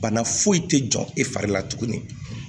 Bana foyi tɛ jɔ e fari la tuguni